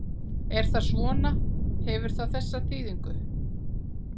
Er það svona, hefur það það prýðilegt?